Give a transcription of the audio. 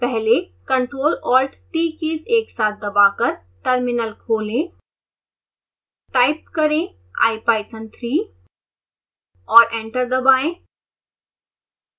पहले ctrl+alt+t keys एक साथ दबाकर टर्मिनल खोलें टाइप करें ipython3 और एंटर दबाएं